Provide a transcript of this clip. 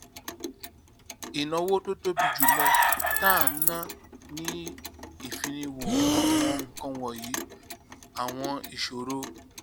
ìnáwó tó tóbi jù lọ tá à ń ná ni ìfiniwo àwọn nǹkan wònyí àwọn ìṣòro